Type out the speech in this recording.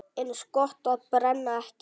Eins gott að brenna ekki!